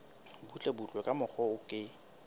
butlebutle ka mokgwa o ke